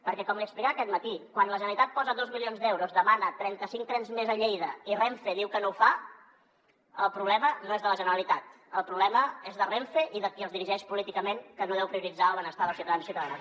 perquè com li explicava aquest matí quan la generalitat hi posa dos milions d’euros demana trenta cinc trens més a lleida i renfe diu que no ho fa el problema no és de la generalitat el problema és de renfe i de qui els dirigeix políticament que no deu prioritzar el benestar dels ciutadans i ciutadanes